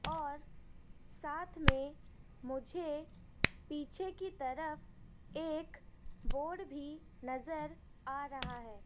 और साथ में मुझे पीछे की तरफ एक बोर्ड भी नजर आ रहा है।